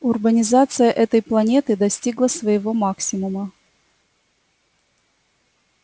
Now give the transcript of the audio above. урбанизация этой планеты достигла своего максимума